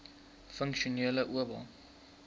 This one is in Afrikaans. funksionele oba